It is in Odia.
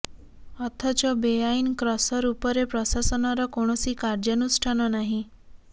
ଅଥଚ ବେଆଇନ୍ କ୍ରସର ଉପରେ ପ୍ରଶାସନର କୌଣସି କାର୍ଯ୍ୟାନୁଷ୍ଠାନ ନାହିଁ